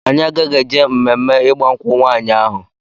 Anyị agaghị eje mme ịgba nkwụ nwaanyị ahụ.